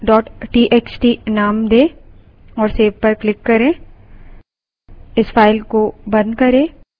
file को numbers txt name दें और save पर क्लिक करें